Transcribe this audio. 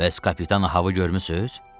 Bəs kapitan Ahaı görmüsüz?